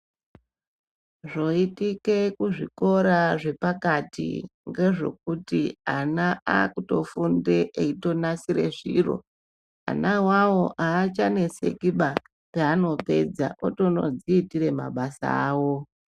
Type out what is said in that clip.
Zvoitike kuzvikora zvepakati ngezvekuti ana akutofunde eitonasire zviro ana iwawo haachanetseki baa paanopedza otonodziitire mabasa awo .